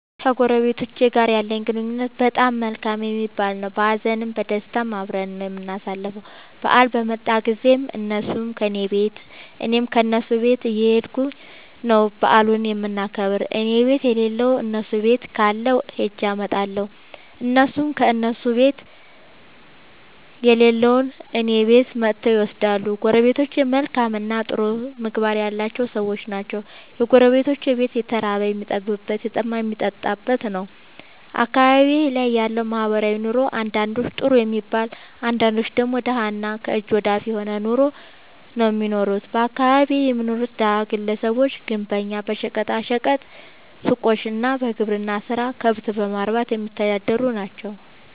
ከጎረቤቶቸ ጋር ያለኝ ግንኙነት በጣም መልካም የሚባል ነዉ። በሀዘንም በደስታም አብረን ነዉ የምናሣልፈዉ በአል በመጣ ጊዜም እነሡም ከኔ ቤት እኔም ከነሡ ቤት እየኸድኩ ነዉ በዓሉን የምናከብር እኔቤት የለለዉን እነሡ ቤት ካለ ኸጀ አመጣለሁ። እነሡም ከእነሡ ቤት የሌለዉን እኔ ቤት መጥተዉ ይወስዳሉ። ጎረቤቶቸ መልካምእና ጥሩ ምግባር ያላቸዉ ሠዎች ናቸዉ። የጎረቤቶቼ ቤት የተራበ የሚጠግብበት የተጠማ የሚጠጣበት ነዉ። አካባቢዬ ላይ ያለዉ ማህበራዊ ኑሮ አንዳንዶቹ ጥሩ የሚባል አንዳንዶቹ ደግሞ ደሀ እና ከእጅ ወደ አፍ የሆነ ኑሮ ነዉ እሚኖሩት በአካባቢየ የሚኖሩት ደሀ ግለሰቦች ግንበኛ በሸቀጣ ሸቀጥ ሡቆች እና በግብርና ስራ ከብት በማርባትየሚተዳደሩ ናቸዉ።